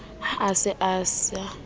ha a se a sa